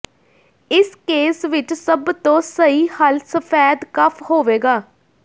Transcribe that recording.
ਇਸ ਕੇਸ ਵਿਚ ਸਭ ਤੋਂ ਸਹੀ ਹੱਲ ਸਫੈਦ ਕਫ਼ ਹੋਵੇਗਾ